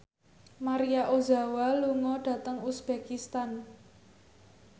Maria Ozawa lunga dhateng uzbekistan